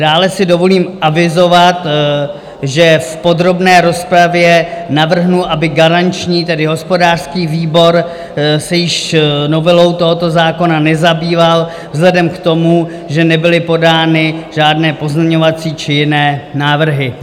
Dále si dovolím avizovat, že v podrobné rozpravě navrhnu, aby garanční, tedy hospodářský výbor se již novelou tohoto zákona nezabýval vzhledem k tomu, že nebyly podány žádné pozměňovací či jiné návrhy.